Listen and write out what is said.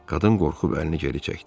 Qadın qorxub əlini geri çəkdi.